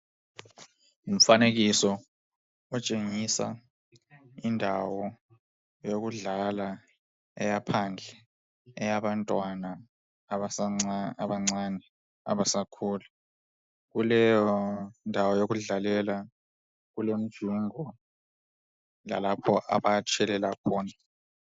Umfanekiso otshengisa indawo yokudlalela eyaphandle eyabantwana abancane abasakhulayo. Kuleyondawo yokudlalela kulemijingo lalapho abatshelela.